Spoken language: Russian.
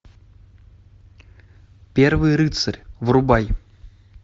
первый рыцарь врубай